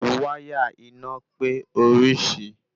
Wáyà iná pé orisi